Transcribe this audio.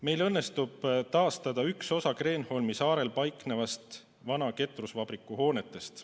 Meil õnnestub taastada üks osa Kreenholmi saarel paiknevatest vana ketrusvabriku hoonetest.